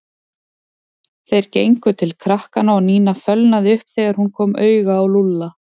Þeir gengu til krakkanna og Nína fölnaði upp þegar hún kom auga á Lúlla.